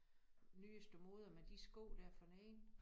Nyeste mode med de sko der forneden